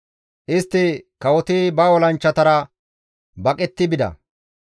Istti, «Kawoti ba olanchchatara di7o gishetti ekkida.